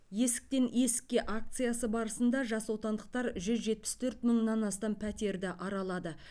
есіктен есікке акциясы барысында жасотандықтар жүз жетпіс төрт мыңнан астам пәтерді аралады